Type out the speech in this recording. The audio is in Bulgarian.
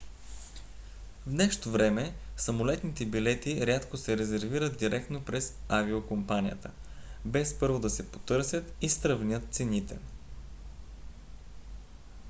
в днешно време самолетните билети рядко се резервират директно през авиокомпанията без първо да се потърсят и сравнят цените